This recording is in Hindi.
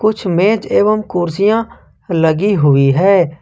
कुछ मेज एवं कुर्सियां लगी हुई है।